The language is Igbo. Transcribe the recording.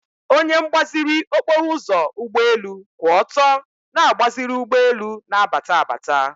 onye mgbaziri okporoụzọ ụgbọelu kwụ ọtọ na-agbaziri ụgbọelu na-abata abata.